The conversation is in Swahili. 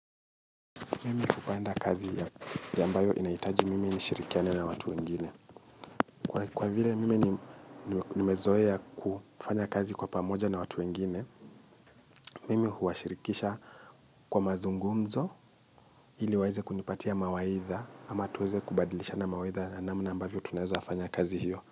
Mimi hupanda kazi ya ambayo inahitaji mimi nishirikiane na watu wengine. Kwa vile mimi nimezoea kufanya kazi kwa pamoja na watu wengine, mimi huwashirikisha kwa mazungumzo ili waeze kunipatia mawaidha ama tuweze kubadilishana mawaidha namna ambavyo tunaweza fanya kazi hiyo.